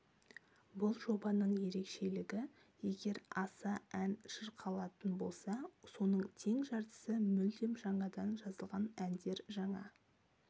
бұл жобаның ерекшелігі егер аса ән шырқалатын болса соның тең жартысы мүлдем жаңадан жазылған әндер жаңа